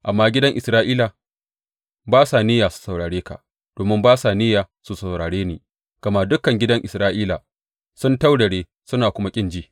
Amma gidan Isra’ila ba sa niyya su saurare ka domin ba sa niyya su saurare ni, gama dukan gidan Isra’ila sun taurare suna kuma kin ji.